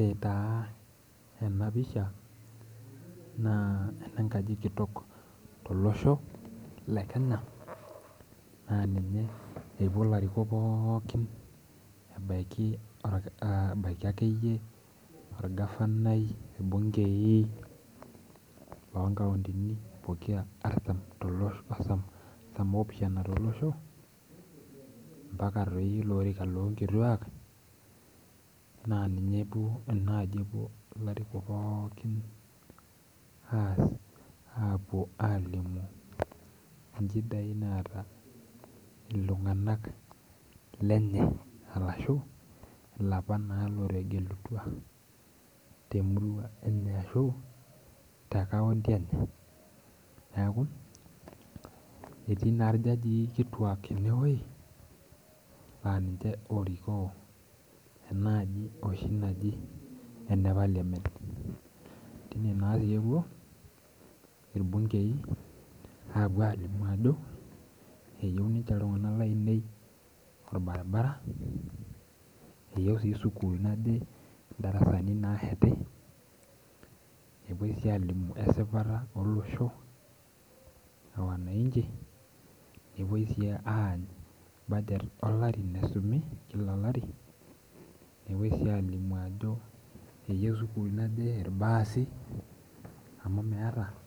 Ore taa enapisha, naa enenkaji kitok tolosho le Kenya, naa ninye epuo larikok pookin ebaiki akeyie orgavanai, irbunkei lonkauntini pokira artam artam opishana tolosho, mpaka toi ilo orika lonkituak, naa ninye duo enaji epuo ilarikok pookin, aas apuo alimu inchidai naata iltung'anak lenye. Arashu, ilapa naa lotegelutua temurua enye ashu, tekaunti enye. Neeku, etii naa irjajii kituak enewei, na ninche orikoo enaaji oshi naji ene parliament. Tine natepuo, irbunkei apuo alimu ajo, eyieu inche iltung'anak lainei orbaribara, eyieu si sukuul naje idarasani nasheti, epoi si alimu esipata olosho, e wananchi, nepoi si anyu budget olari naisumi kila olari, nepoi si alimu ajo eyieu sukuul naje irbaasi amu meeta.